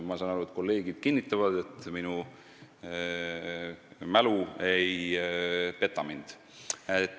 Ma saan aru, et kolleegid kinnitavad, et minu mälu ei peta mind.